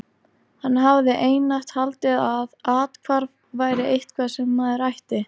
Hann hafði einatt haldið að athvarf væri eitthvað sem maður ætti.